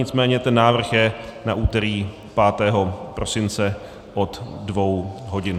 Nicméně ten návrh je na úterý 5. prosince od dvou hodin.